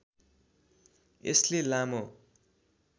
यसले लामो